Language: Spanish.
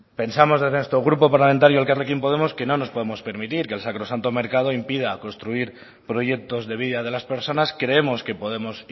pensamos desde nuestro grupo parlamentario elkarrekin podemos que no nos podemos permitir que el sacrosanto mercado impida construir proyectos de vida de las personas creemos que podemos